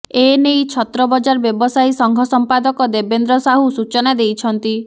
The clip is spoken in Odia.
ଏନେଇ ଛତ୍ରବଜାର ବ୍ୟବସାୟୀ ସଂଘ ସମ୍ପାଦକ ଦେବେନ୍ଦ୍ର ସାହୁ ସୂଚନା ଦେଇଛନ୍ତି